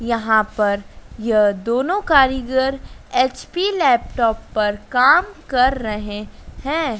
यहां पर यह दोनों कारीगर एच_पी लैपटॉप पर काम कर रहे हैं।